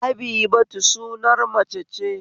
Habibatu sunar mace ce